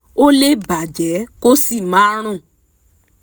ó lè bà jẹ́ kó sì máa rùn